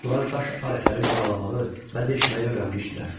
Ustalar daş alətləri cilalamağı və deşməyi öyrənmişdilər.